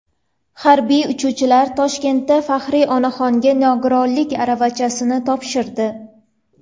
Harbiy uchuvchilar Toshkentda faxriy onaxonga nogironlik aravachasini topshirdi.